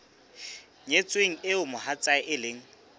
nyetsweng eo mohatsae e leng